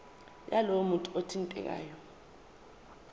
yalowo muntu othintekayo